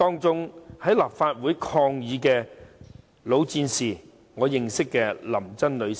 在立法會抗議的老戰士當中，我認識林珍女士。